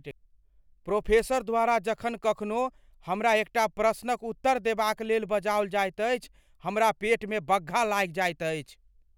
Professor द्वारा जखन कखनो हमरा एकटा प्रश्नक उत्तर देबाक लेल बजाओल जाइत अछि हमर पेटमे बग्घा लागि जाइत अछि।